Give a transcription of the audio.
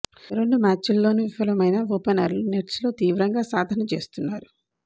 రెండు మ్యాచ్ల్లోనూ విఫలమైన ఓపెనర్లు నెట్స్లో తీవ్రంగా సాధన చేస్తున్నారు